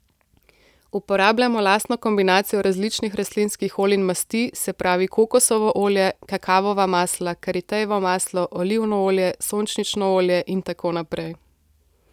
Uporabljamo lastno kombinacijo različnih rastlinskih olj in masti, se pravi kokosovo olje, kakavova masla, karitejevo maslo, olivno olje, sončnično olje in tako naprej.